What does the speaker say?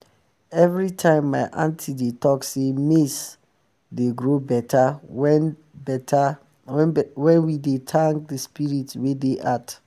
everytime my aunty dey talk sey maize dey um grow better wen we better wen we dey thank um de spirits wey dey earth